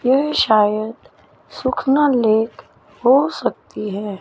ये शायद सुखना लेक हो सकती है।